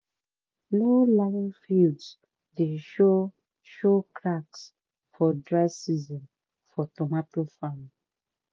low-lying fields dey show show cracks for dry season for tomato farm.